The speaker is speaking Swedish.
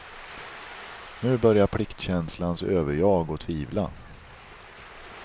Nu börjar pliktkänslans överjag att tvivla.